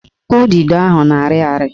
Udido ahụ na-arị ari